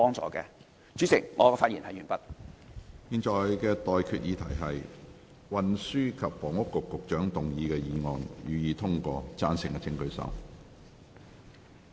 我現在向各位提出的待決議題是：運輸及房屋局局長動議的議案，予以通過。